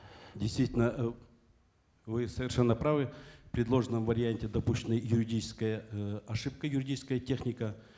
действительно э вы совершенно правы в предложенном варианте допущена юридическая э ошибка юридическая техника